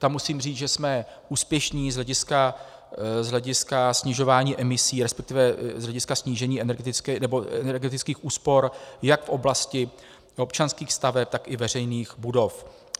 Tam musím říct, že jsme úspěšní z hlediska snižování emisí, respektive z hlediska snížení energetických úspor jak v oblasti občanských staveb, tak i veřejných budov.